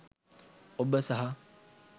ඔබ සහ